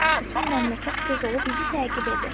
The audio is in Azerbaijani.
Bütün məmləkət göz olub bizi təqib edir.